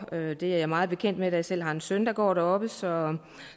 det er jeg meget bekendt med da jeg selv har en søn der går dér så